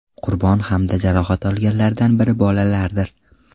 Qurbon hamda jarohat olganlardan biri bolalardir.